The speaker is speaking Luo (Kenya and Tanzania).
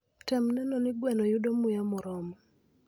Tem neno ni gweno yudo muya moromo.